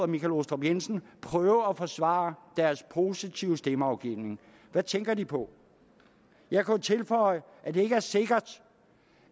michael aastrup jensen prøve at forsvare deres positive stemmeafgivning hvad tænker de på jeg kunne tilføje at det ikke er sikkert